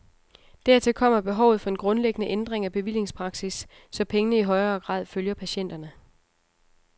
Dertil kommer behovet for en grundlæggende ændring af bevillingspraksis, så pengene i højere grad følger patienterne.